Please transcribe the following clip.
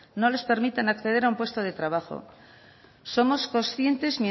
no les permitan acceder a un puesto de trabajo somos conscientes